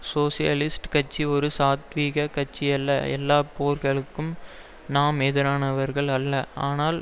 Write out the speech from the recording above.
socialist கட்சி ஒரு சாத்வீக கட்சியல்ல எல்லா போர்களுக்கும் நாம் எதிரானவர்கள் அல்ல ஆனால்